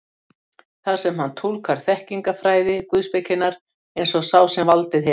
þar sem hann túlkar þekkingarfræði guðspekinnar eins og sá sem valdið hefur.